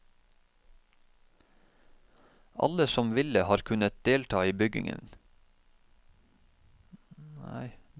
Alle som ville har kunnet delta i byggingen.